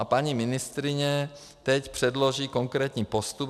A paní ministryně teď předloží konkrétní postup.